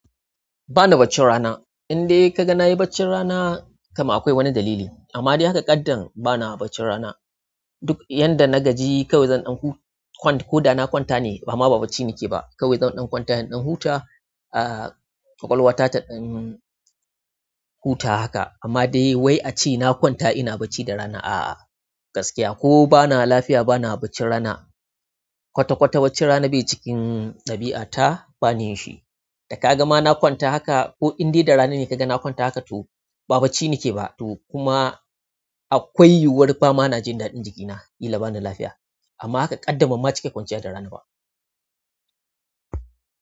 Ba na bacci rana. Inde ka ga na yi bacci rana kama akwai wani dalili. Amma dai haka ƙaddan ba na bacci rana. Duk yanda na gaji kawai zan ɗan kwanta ko da na kwanta ne ba ma ba bacci nake ba. Kawai zan ɗan kwanta, in ɗan huta, ƙwaƙwalwa ta ta ɗan huta haka. Amma dai wai a ce na kwanta ina bacci da rana, a'a gaskiya ko bana lafiya bana bacci rana. Kwata-kwata bacci rana bai cikin ɗabi'a ta ba niyyinshi. Da ka ga ma na kwanta haka ko indai da rana ne ka ga na kwanta haka to ba bacci nake ba to kuma akwai yiwuwar ba ma na jin daɗin jikina, killa bana lafiya. Amma haka kaddam banma cika kwanciya da rana ba.